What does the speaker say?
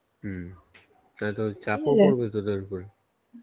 হম তাহলে তোদের চাপও পড়বে তোদের উপরে?